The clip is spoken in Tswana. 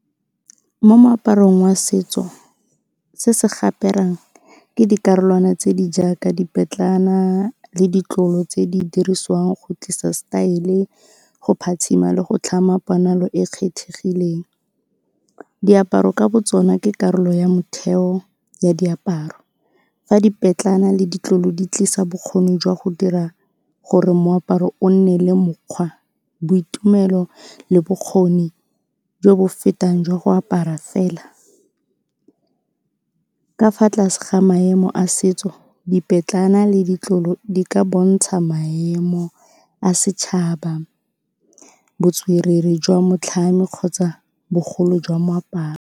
Mo moaparong wa setso, se se ke dikarolwana tse di jaaka le ditlolo tse di dirisiwang go tlisa style, go phatsima le go tlhama ponalo e e kgethegileng. Diaparo ka botsona ke karolo ya motheo ya diaparo, fa le ditlolo di tlisa bokgoni jwa go dira gore moaparo o nne le mokgwa, boitumelo le bokgoni jo bo fetang jwa go apara fela. Ka fa tlase ga maemo a setso, le ditlolo di ka bontsha maemo a setšhaba, botswerere jwa motlhami kgotsa bogolo jwa moaparo.